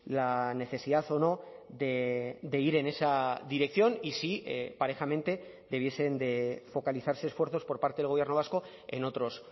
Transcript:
la necesidad o no de ir en esa dirección y si parejamente debiesen de focalizarse esfuerzos por parte del gobierno vasco en otros